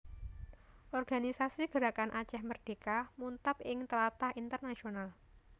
Organisasi Gerakan Aceh Merdeka muntab ing tlatah internasional